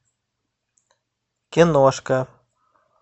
киношка